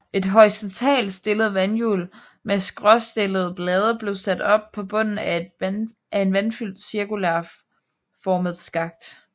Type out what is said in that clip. Et horisontalt stillet vandhjul med skråstillede blade blev sat op på bunden af en vandfyldt cirkulær formet skakt